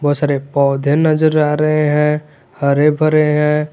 सारे पौधे नजर आ रहे हैं हरे भरे हैं।